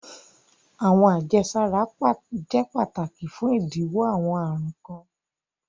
Awọn ajesara jẹ pátàkì fún idílọ́wọ́ awọn arùn kan.